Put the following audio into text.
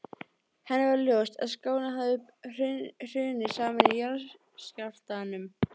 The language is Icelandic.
Henni varð ljóst að skálinn hafði hrunið saman í jarðskjálftunum.